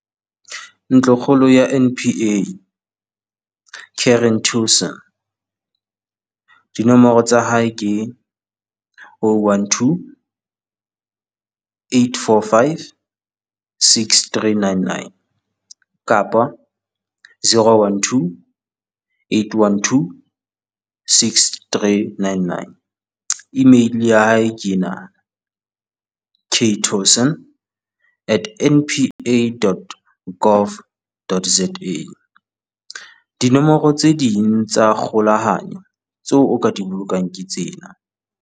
Ntlokgolo ya NPA - Karen Tewson dinomoro tsa hae ke oh one two eight four five six three nine nine kapa zero one two eight one two six three nine nine . E-mail ya hae ke enaa Ktewson at npa dot gov dot za. Dinomoro tse ding tsa kgolahanyo tseo o ka di bolokang ke tsena